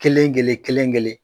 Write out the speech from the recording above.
Kelen kelen kelen kelen.